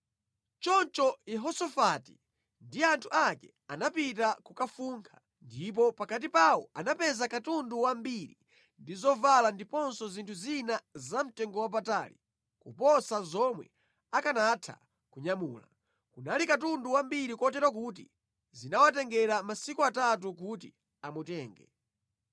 Choncho Yehosafati ndi anthu ake anapita kukafunkha, ndipo pakati pawo anapeza katundu wambiri ndi zovala ndiponso zinthu zina zamtengowapatali kuposa zomwe akanatha kunyamula. Kunali katundu wambiri kotero kuti zinawatengera masiku atatu kuti amutenge.